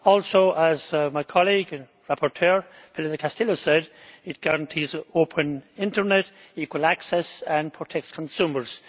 Also, as my colleague and rapporteur Pilar del Castillo said, it guarantees open internet, equal access and protects consumers.